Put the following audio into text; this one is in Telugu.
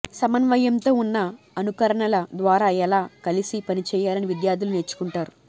సమన్వయంతో ఉన్న అనుకరణల ద్వారా ఎలా కలిసి పనిచేయాలని విద్యార్థులు నేర్చుకుంటారు